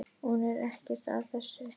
Hún er ekkert af þessu.